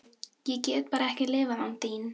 Ég get bara ekki lifað án þín.